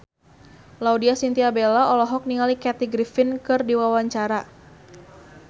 Laudya Chintya Bella olohok ningali Kathy Griffin keur diwawancara